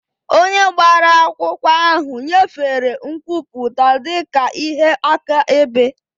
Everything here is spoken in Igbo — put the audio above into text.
Onye gbara akwụkwọ ahụ nyefere nkwupụta dị ka ihe akaebe.